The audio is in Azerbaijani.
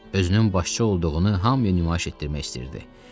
Özünün başçı olduğunu hamıya nümayiş etdirmək istəyirdi.